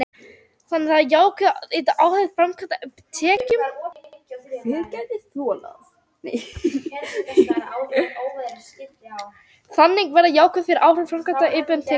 þannig verða jákvæð ytri áhrif framkvæmdanna að opinberum tekjum